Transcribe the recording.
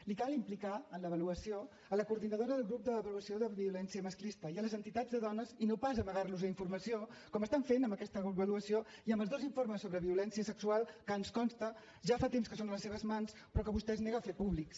li cal implicar en l’avaluació la coordinadora del grup d’avaluació de violència masclista i les entitats de dones i no pas amagar los informació com estan fent amb aquesta avaluació i amb els dos informes sobre violència sexual que ens consta ja fa temps que són a les seves mans però que vostè es nega a fer públics